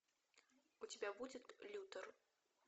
у тебя будет лютер